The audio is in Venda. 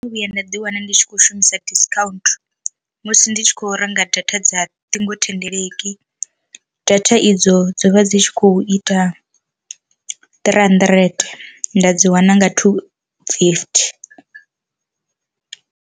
Ndo vhuya nda ḓi wana ndi tshi kho shumisa discount musi ndi tshi kho renga data dza ṱhingothendeleki, data idzo dzo vha dzi tshi khou ita three hundred nda dzi wana nga two fifty.